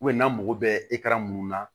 n'a mago bɛ mun na